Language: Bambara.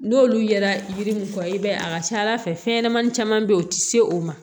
N'olu yera yiri mun fɔ i b'a ye a ka ca ala fɛ fɛn ɲanamani caman bɛ yen u tɛ se o ma